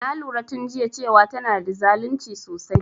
Na lura tun jiya cewan tana da zalunci sosai